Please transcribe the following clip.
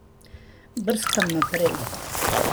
Brskam naprej.